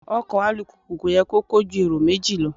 Ọkọ̀ alùpùpù kò yẹ kó kó ju èrò méjì lọ.